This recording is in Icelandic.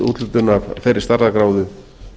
úthlutun af þeirri stærðargráðu